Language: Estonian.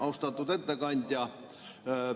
Austatud ettekandja!